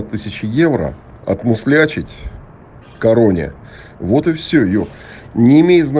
тысяча евро отмуслячить в короне вот и все юр не имеет зна